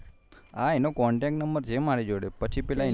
હા એનો contactnumber છે મારી જોડે